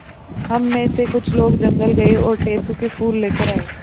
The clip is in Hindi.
हम मे से कुछ लोग जंगल गये और टेसु के फूल लेकर आये